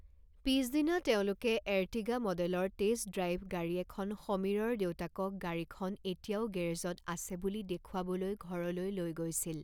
পিছদিনা তেওঁলোকে এৰ্টিগা মডেলৰ টেষ্ট ড্ৰাইভ গাড়ী এখন সমীৰৰ দেউতাকক গাড়ীখন এতিয়াও গেৰেজত আছে বুলি দেখুৱাবলৈ ঘৰলৈ লৈ গৈছিল।